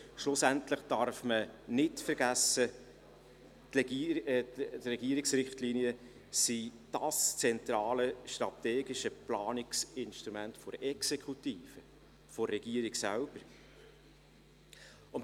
Schlussendlich darf man nicht vergessen, dass diese Richtlinien das zentrale strategische Planungsinstrument der Exekutive sind.